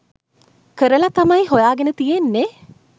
කරලා තමයි හොයාගෙන තියෙන්නෙ.